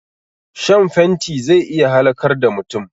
Shan fenti zai iya halakar da mutum